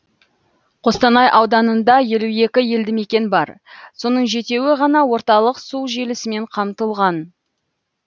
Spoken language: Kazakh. қостанай ауданында елу екі елді мекен бар соның жетеуі ғана орталық су желісімен қамтылған